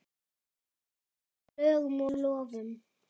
Að ráða lögum og lofum.